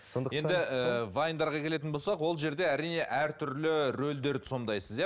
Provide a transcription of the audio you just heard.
вайндарға келетін болсақ ол жерде әрине әртүрлі рөлдерді сомдайсыз иә